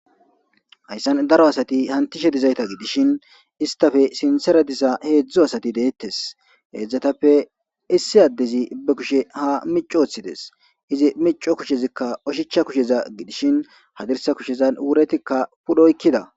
Hayssan daro asati hantishe dizayta gidishin istafe sinthra diza heedzdzu asati deettes. Heedzdzatappe issi addezi be kushe ha micci woththides. Izi micco kushezikka oshicha kusheza gidishin hadirsa kushezan wuretikka pudhoykkida.